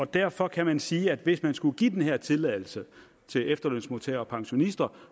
derfor kan man sige at hvis man skulle give den her tilladelse til efterlønsmodtagere og pensionister